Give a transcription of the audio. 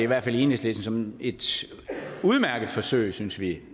hvert fald i enhedslisten som et udmærket forsøg synes vi